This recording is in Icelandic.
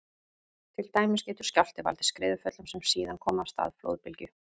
Til dæmis getur skjálfti valdið skriðuföllum sem síðan koma af stað flóðbylgju.